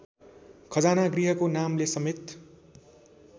खजानागृहको नामले समेत